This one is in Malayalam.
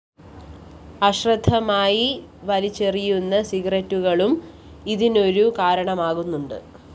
അശ്രദ്ധമായി വലിച്ചെറിയുന്ന സിഗരറ്റുകുറ്റികളും ഇതിനൊരു കാരണമാകുന്നുണ്ട്